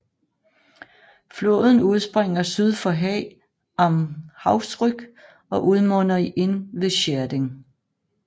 Floden udspringer syd for Haag am Hausrück og udmunder i Inn ved Schärding